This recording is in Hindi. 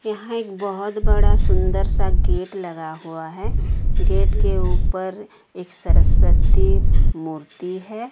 यहां एक बहोत बड़ा सुंदर सा गेट लगा हुआ है गेट के ऊपर एक सरस्वती मूर्ति है।